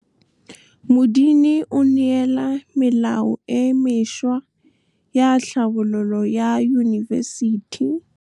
Modini o neela melao e mešwa ya tlhabololô ya Yunibesiti. Modini o neela melao e mešwa ya tlhabololô ya Yunibesiti.